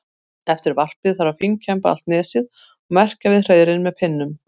Eftir varpið þarf að fínkemba allt nesið og merkja við hreiðrin með pinnum.